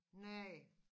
Nej